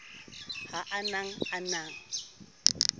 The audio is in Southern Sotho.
ha a ne a na